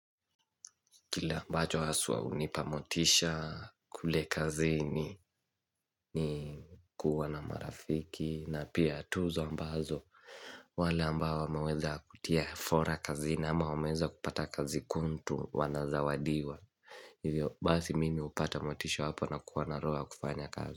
Kile ambacho haswa hunipa motisha kule kazini ni kuwa na marafiki na pia tuzo ambazo wale ambao wameweza kutia fora kazi na ama wameweza kupata kazi kuntu wanazawadiwa. Hivyo basi mimi upata motisha apo na kuwa naroho ya kufanya kazi.